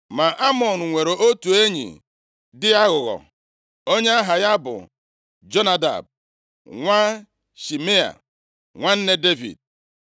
Ma Amnọn nwere otu enyi dị aghụghọ, onye aha ya bụ Jonadab, nwa Shimea, nwanne Devid.